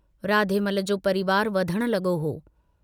राधेमल जो परिवार वधण लगो हो।